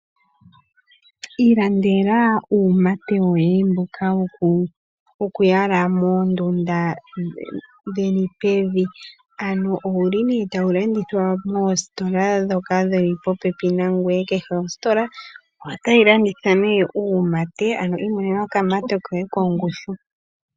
Ilandela uumate woye mboka wokuyala moondunda dheni pevi ano owu limo ne tawu landithwa moositola ndhoka dhili po pepi nangoye kehe otayi landitha ne uumate ano imonena okamate koye kongushu.